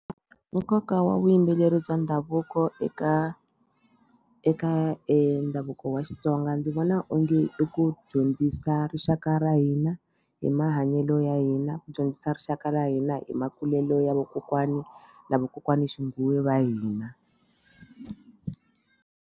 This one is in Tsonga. Nkoka wa vuyimbeleri bya ndhavuko eka eka ndhavuko wa Xitsonga ndzi vona onge i ku dyondzisa rixaka ra hina hi mahanyelo ya hina ku dyondzisa rixaka ra hina hi makulelo ya vakokwani na vakokwana xinguwe va hina.